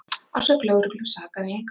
Að sögn lögreglu sakaði engan